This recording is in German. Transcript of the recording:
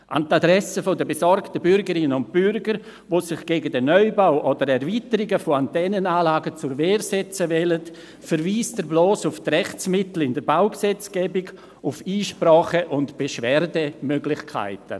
An die Adresse der besorgten Bürgerinnen und Bürger, die sich gegen den Neubau oder Erweiterungen von Antennenanlagen zur Wehr setzen wollen, verweist er bloss auf die Rechtsmittel in der Baugesetzgebung, auf Einsprache- und Beschwerdemöglichkeiten.